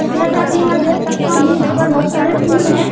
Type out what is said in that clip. जैसा कि मैं देख सकता हूं यहाँ पर बहुत सारे फूल हैं।